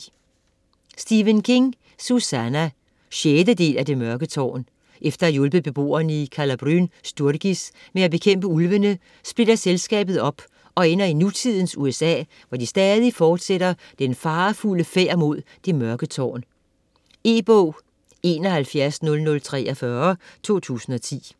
King, Stephen: Susannah 6. del af Det mørke tårn. Efter at have hjulpet beboerne i Calla Bryn Sturgis med at bekæmpe ulvene, splitter selskabet op, og ender i nutidens USA, hvor de stadig fortsætter den farefulde færd mod Det Mørke tårn. E-bog 710043 2010.